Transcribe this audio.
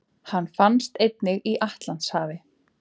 Hann finnst einnig í Atlantshafi.